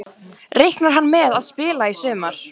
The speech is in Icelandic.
Reiknar hann með að spila í sumar?